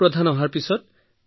আৰু যি জন সচিব আহিছিল ছাৰ